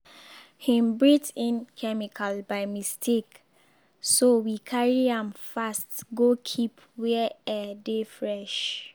hin breathe in chemical by mistake so we carry am fast go keep where air dey fresh.